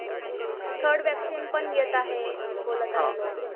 Third vaccine पण येत आहे. बोलत आहे लोक.